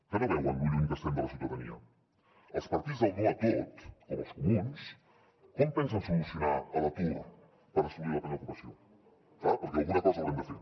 que no veuen lo lluny que estem de la ciutadania els partits del no a tot com els comuns com pensen solucionar l’atur per assolir la plena ocupació clar perquè alguna cosa haurem de fer